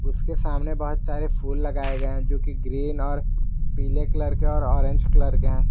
उसके सामने बहुत सारे फूल लगाए गए हैं जो कि ग्रीन और पीले कलर के और ऑरेंज कलर के हैं।